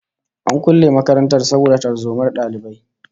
An kulle makarantar saboda tarzomar dalibai